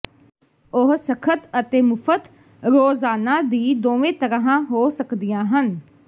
ਉਹ ਸਖ਼ਤ ਅਤੇ ਮੁਫਤ ਰੋਜ਼ਾਨਾ ਦੀ ਦੋਵੇਂ ਤਰ੍ਹਾਂ ਹੋ ਸਕਦੀਆਂ ਹਨ